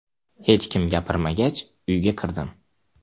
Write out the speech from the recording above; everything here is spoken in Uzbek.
Hech kim gapirmagach uyga kirdim.